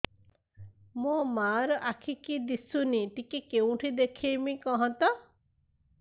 ମୋ ମା ର ଆଖି କି ଦିସୁନି ଟିକେ କେଉଁଠି ଦେଖେଇମି କଖତ